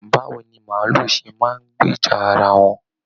Báwo ni maálù ṣe máa n gbìjà ará wọn?